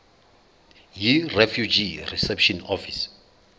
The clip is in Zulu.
yirefugee reception office